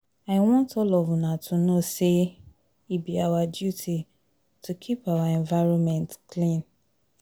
I want all of una to know say e be our duty to keep our environment clean.